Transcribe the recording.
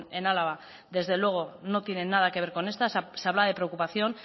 en álava desde luego que no tiene nada que ver con esta se habla de preocupación